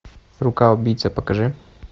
рука убийцы покажи